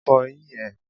Fọ eyín ẹ.!